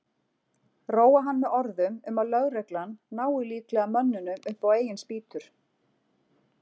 Róa hann með orðum um að lögreglan nái líklega mönnunum upp á eigin spýtur.